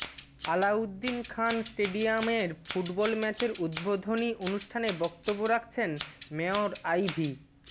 আলাউদ্দিন খান স্টেডিয়ামের ফুটবল ম্যাচের উদ্বোধনী অনুষ্ঠানে বক্তব্য রাখছেন মেয়র আইভী